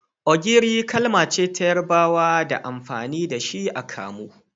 Ogiri kalmace ta yarabawa da amfani da shi a kamu.